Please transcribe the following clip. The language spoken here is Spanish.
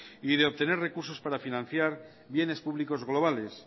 y de obtener recursos para financiar bienes públicos globales